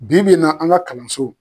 Bi bi in na an ka kalanso